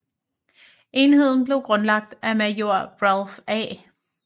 Enheden blev grundlagt af major Ralph A